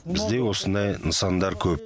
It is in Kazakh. бізде осындай нысандар көп